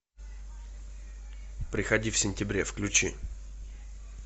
приходи в сентябре включи